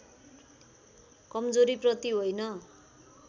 कमजोरीप्रति होइन